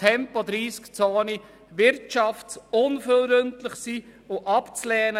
Tempo-30-Zonen sind wirtschaftsunfreundlich und abzulehnen.